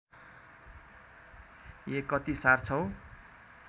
ए कति सार्छौ